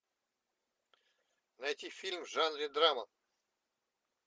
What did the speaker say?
найти фильм в жанре драма